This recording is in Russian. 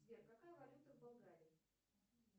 сбер какая валюта в болгарии